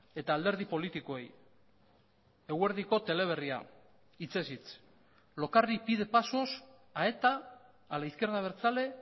eta alderdi politikoei eguerdiko teleberria hitzez hitz lokarri pide pasos a eta a la izquierda abertzale